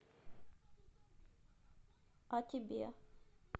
а тебе